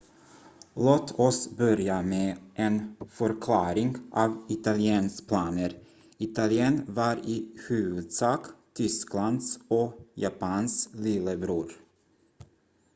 "låt oss börja med en förklaring av italiens planer. italien var i huvudsak tysklands och japans "lillebror"".